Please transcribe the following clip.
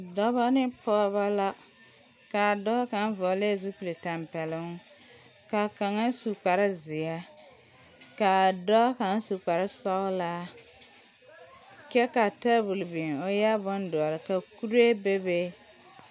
Dɔba ne pɔgeba la ka a dɔɔ kaŋ vɔglɛɛ zupilitɛmpɛloŋ ka kaŋa su kparezeɛ ka dɔɔ kaŋ si kparesɔglaa kyɛ ka tabol biŋ o eɛ bondɔre ka kuree bebe.